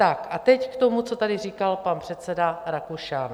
Tak a teď k tomu, co tady říkal pan předseda Rakušan.